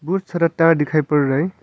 खूब सारा तार दिखाई पड़ रहा है।